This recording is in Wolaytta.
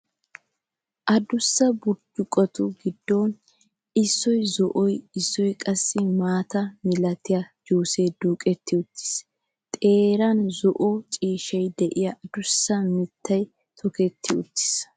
Adussa burccuqotu giddon issuwaan zo'o, issuwaan qassi maata milatiya juusee duuqetti uttiis. Xeeran zo'o ciishshaara de'iyaa adussa mittay toketti uttiis.